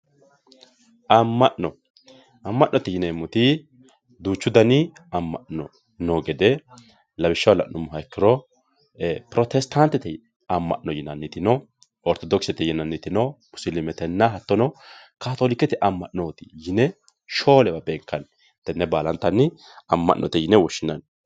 amma'no amma'note yineemmoti duuchu dani amma'no noo gede lawishshaho la'nummoha ikkiro protestaantete yinanni amma'no no ortodokisete yinanniti no musiliimetenna hattono kaatoolikete amma'no yine shoolewa beenkanni tenne baalantanni shoolewa beenkanni